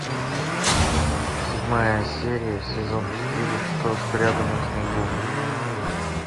седьмая серия сезон четыре что спрятано в снегу